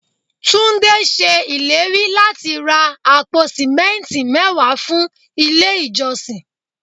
Túndé ṣe ìlérí láti ra àpò simẹnti mẹ́wàá fún ilé ìjọsìn.